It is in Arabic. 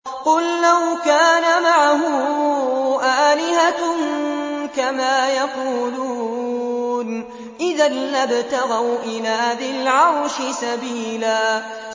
قُل لَّوْ كَانَ مَعَهُ آلِهَةٌ كَمَا يَقُولُونَ إِذًا لَّابْتَغَوْا إِلَىٰ ذِي الْعَرْشِ سَبِيلًا